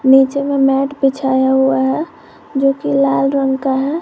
नीचे में मैट बिछाया हुआ है जो की लाल रंग का है।